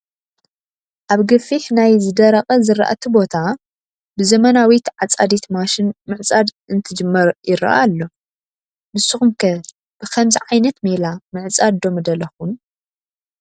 ኣብ ገፊሕ ናይ ዝደረቐ ዝራእቲ ቦታ ብዘመናዊት ዓፃዲት ማሽን ምዕፃድ እንትጅመር ይረአ ኣሎ፡፡ ንስኹም ከ ብኸምዚ ዓይነት ሜላ ምዕፃድ ዶ ምደለኹም?